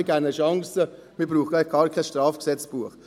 wir geben ihnen Chancen, man braucht gar kein Strafgesetzbuch.»